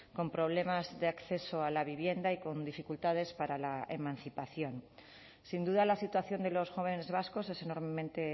con problemas de acceso a la vivienda y con dificultades para la emancipación sin duda la situación de los jóvenes vascos es enormemente